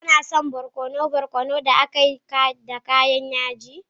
Kuna son barkono barkono da aka yi da kayan yaji?